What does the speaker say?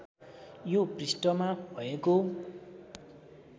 यो पृष्ठमा भएको